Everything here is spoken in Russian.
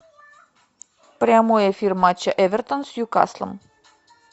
прямой эфир матча эвертон с ньюкаслом